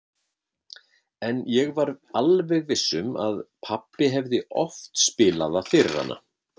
En ég var alveg viss um að pabbi hefði oft spilað það fyrir hana.